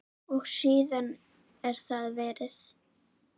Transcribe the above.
Og síðan er það veðrið.